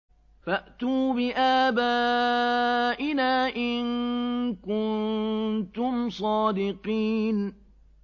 فَأْتُوا بِآبَائِنَا إِن كُنتُمْ صَادِقِينَ